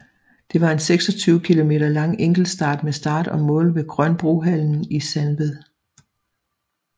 Det var en 26 km lang enkeltstart med start og mål ved Grønbrohallen i Sandved